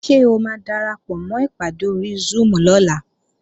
Ṣé o máa darapọ̀mọ́ ìpàdé ori Zoom lọ́la?